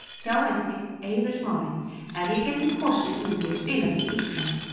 Sjá einnig: Eiður Smári: Ef ég gæti kosið myndi ég spila fyrir Ísland